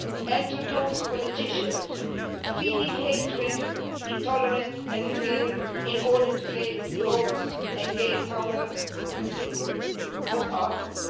And to those politicians feeding hatred, intolerance and fear in order to get votes and gain power what are you?